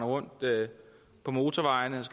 og orden det